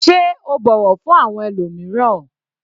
Sé o bọ̀wọ̀ fún àwọn ẹlòmíràn?